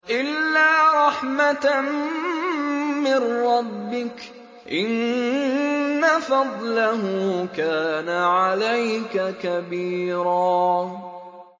إِلَّا رَحْمَةً مِّن رَّبِّكَ ۚ إِنَّ فَضْلَهُ كَانَ عَلَيْكَ كَبِيرًا